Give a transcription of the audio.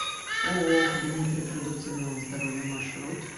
ооо кабинет репродуктивного здоровья маршрут